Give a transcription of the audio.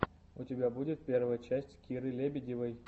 у тебя будет первая часть киры лебедевой